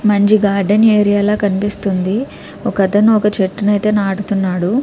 మంచి garden area ల కనిపిస్తుంది. ఒకతను ఒక చెట్టు ఐతే నాడుతున్నాడు.